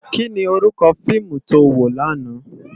Ki ni órúkò fiimu tó wó làná?